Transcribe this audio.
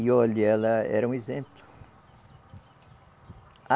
E olha, ela era um exemplo. A